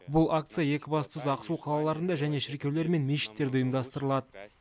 бұл акция екібастұз ақсу қалаларында және шіркеулер мен мешіттерде ұйымдастырылады